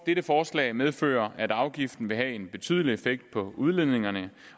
dette forslag medfører at afgiften vil have en betydelig effekt på udledningerne